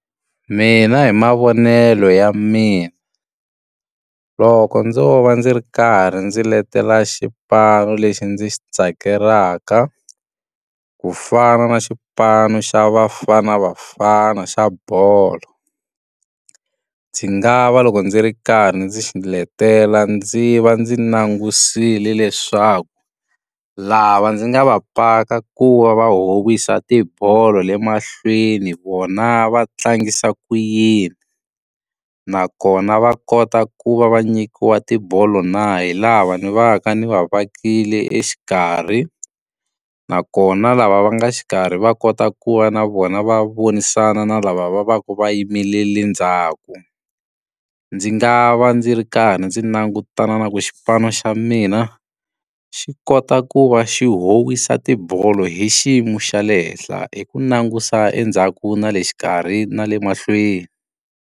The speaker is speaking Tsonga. Mina hi mavonelo ya mina, loko ndzo va ndzi ri karhi ndzi letela xipano lexi ndzi xi tsakelaka ku fana na xipano xa Bafana Bafana xa bolo. Ndzi nga va loko ndzi ri karhi ndzi xiletela ndzi va ndzi langutisile leswaku, lava ndzi nga va paka ku va va howisa tibolo le mahlweni vona va tlangisa ku yini. Nakona va kota ku va va nyikiwa tibolo na hi lava ni va ka ni va vetlekile exikarhi. Nakona lava va nga xikarhi va kota ku va na vona va vonisana na lava va va va va yimerile ndzhaku. Ndzi nga va ndzi ri karhi ndzi langutana na ku xipano xa mina, xi kota ku va xi howisa tibolo hi xiyimo xa le henhla hi ku langusa endzhaku na le xikarhi na le mahlweni.